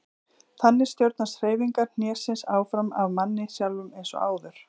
Þannig stjórnast hreyfingar hnésins áfram af manni sjálfum eins og áður.